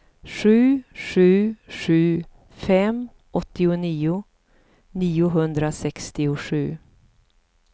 sju sju sju fem åttionio niohundrasextiosju